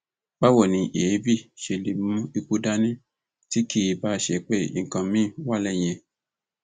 báwo ni èébì ṣe lè mú ikú dání tí kì í báá ṣe pé nǹkan míín wà lẹyìn ẹ